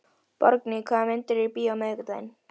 Borgný, hvaða myndir eru í bíó á miðvikudaginn?